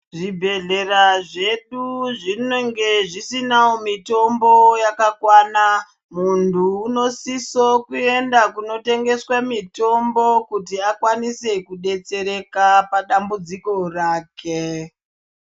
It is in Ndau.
Zvibhehlera zvedu zvinenge zvisinawo mitombo yakakwana muntu unosiso kuenda kunotengeswe mitombo kuti akwanise kudetsereka padambudziko rake.